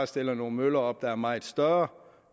stillet nogle møller op der var meget større